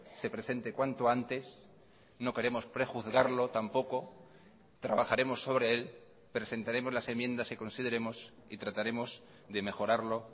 se presente cuanto antes no queremos prejuzgarlo tampoco trabajaremos sobre él presentaremos las enmiendas que consideremos y trataremos de mejorarlo